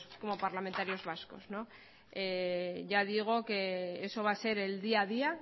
como parlamentarios vascos ya digo que eso va a ser el día a día